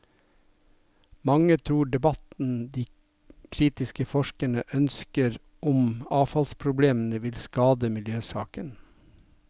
Mange tror debatten de kritiske forskerne ønsker om avfallsproblemene, vil skade miljøsaken.